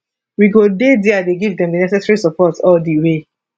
we go dey dia dey give am di necessary support all di way